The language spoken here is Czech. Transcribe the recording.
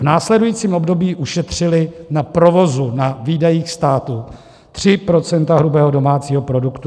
V následujícím období ušetřili na provozu, na výdajích států 3 % hrubého domácího produktu.